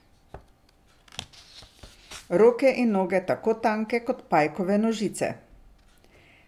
Roke in noge tako tanke kot pajkove nožice.